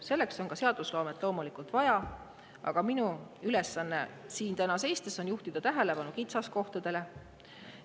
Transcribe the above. Selleks on loomulikult vaja ka seadusloomet, aga minu ülesanne siin täna on juhtida tähelepanu kitsaskohtadele.